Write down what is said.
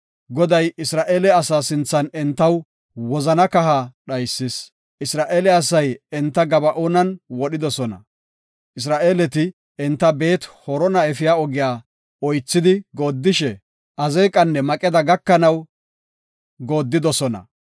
Goday Isra7eele asa sinthan entaw wozana kaha dhaysis. Isra7eele asay enta Gaba7oonan wodhidosona. Isra7eeleti enta Beet-Horona efiya ogiya oythidi goodishe, Azeeqanne Maqeda gakanaw goodidosona.